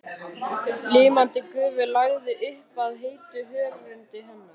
Ilmandi gufu lagði upp af heitu hörundi hennar.